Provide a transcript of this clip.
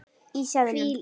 Í seðlum.